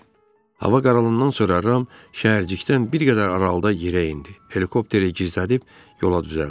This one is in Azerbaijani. Hava qaralandan sonra Ram şəhərcikdən bir qədər aralıda yerə endi, helikopteri gizlədib yola düzəldi.